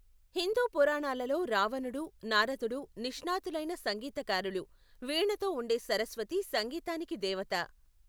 హిందూ పురాణాలలో రావణుడు, నారదుడు నిష్ణాతులైన సంగీతకారులు, వీణతో ఉండే సరస్వతి సంగీతానికి దేవత.